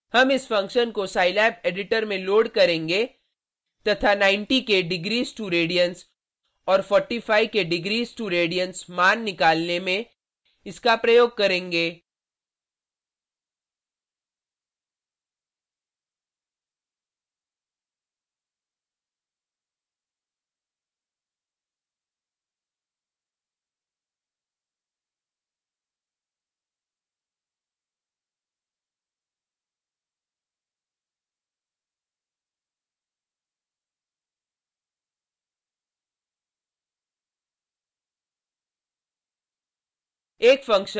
हम इस फंक्शन को scilab एडिटर में लोड करेंगे तथा 90 के degrees2radians और 45 के degrees2radians मान निकालने में इसका प्रयोग करेंगे